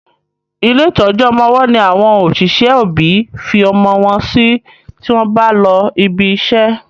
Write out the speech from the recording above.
ilé ìtọjú ọmọ ọwó ní àwọn òṣìṣẹ́ òbí fí ọmọ wón sí tí wón bá ló ìbí ṣe